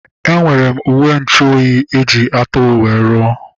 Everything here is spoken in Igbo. Enwere m uwenchuoyi eji ajị atụrụ wee ruo